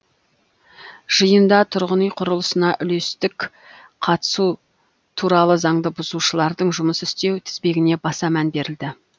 жиында тұрғын үй құрылысына үлестік қатысу туралы заңды бұзушылардың жұмыс істеу тізбегіне баса мән берілді